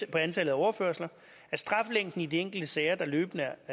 på antallet af overførsler at straflængden i de enkelte sager der løbende